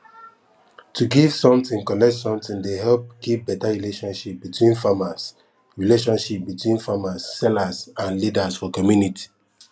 to give something collect something dey help keep beta relationship between farmers relationship between farmers seller and leaders for community